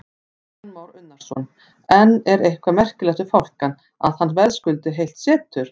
Kristján Már Unnarsson: En er eitthvað merkilegt við fálkann, að hann verðskuldi heilt setur?